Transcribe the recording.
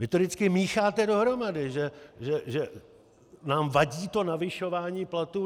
Vy to vždycky mícháte dohromady, že nám vadí to navyšování platů.